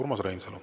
Urmas Reinsalu.